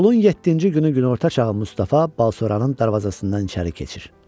Yolun yeddinci günü günorta çağı Mustafa Balşoranın darvazasından içəri keçir.